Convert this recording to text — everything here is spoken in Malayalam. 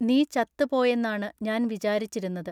നീ ചത്തു പോയെന്നാണു ഞാൻ വിചാരിച്ചിരുന്നത്.